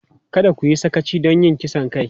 Kada ku yi sakaci don yin kisan kai!